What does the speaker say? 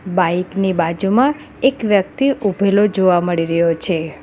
Bike ની બાજુમાં એક વ્યક્તિ ઊભેલો જોવા મળી રહ્યો છે.